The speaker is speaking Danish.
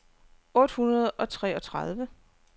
otte hundrede og treogtredive